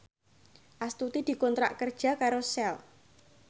Astuti dikontrak kerja karo Shell